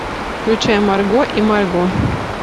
включай марго и марго